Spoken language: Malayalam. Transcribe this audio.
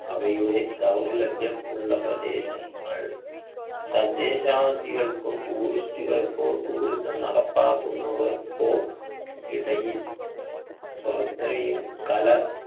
അവയുടെ ദൗർലഭ്യം ഉള്ള പ്രദേശങ്ങൾ തദ്ദേശാദികൾക്കും tourist കൾക്കോ tourism നടപ്പാക്കുന്നവർക്കോ ഇടയിൽ കല